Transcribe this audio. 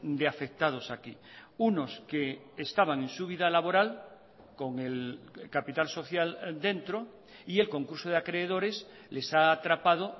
de afectados aquí unos que estaban en su vida laboral con el capital social dentro y el concurso de acreedores les ha atrapado